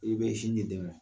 I bɛ sin di den ma.